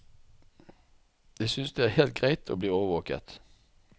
Jeg synes det er helt greit å bli overvåket.